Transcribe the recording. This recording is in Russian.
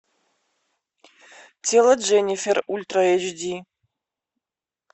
тело дженнифер ультра эйч ди